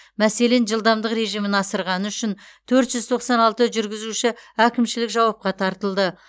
мәселен жылдамдық режимін асырғаны үшін төрт жүз тоқсан алты жүргізуші әкімшілік жауапқа тартылды